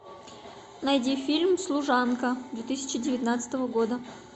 найди фильм служанка две тысячи девятнадцатого года